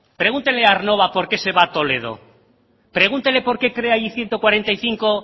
pregúntele a aernnova porqué se va a toledo pregúntele porqué crea allí ciento cuarenta y cinco